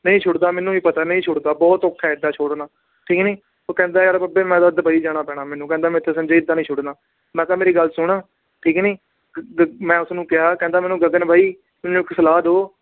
ਨਹੀਂ ਸੁੱਟਦਾ ਮੈਨੂੰ ਵੀ ਪਤਾ ਨਹੀਂ ਸੁੱਟਦਾ ਬਹੁਤ ਔਖਾ ਹੈ ਏਦਾਂ ਛੋੜਨਾ, ਠੀਕ ਨੀ ਉਹ ਕਹਿੰਦਾ ਯਾਰ ਬਾਬੇ ਮੈਂ ਤਾਂ ਦੁਬਈ ਜਾਣਾ ਪੈਣਾ ਮੈਨੂੰ ਕਹਿੰਦਾ ਮੇਰੇ ਤੋਂ ਸੰਜੇ ਏਦਾਂ ਨੀ ਸੁੱਟਣਾ, ਮੈਂ ਕਿਹਾ ਮੇਰੀ ਗੱਲ ਸੁਣ ਠੀਕ ਨੀ ਮੈਂ ਉਸਨੂੰ ਕਿਹਾ ਕਹਿੰਦਾ ਮੈਨੂੰ ਗਗਨ ਬਾਈ ਮੈਨੂੰ ਇੱਕ ਸਲਾਹ ਦਓ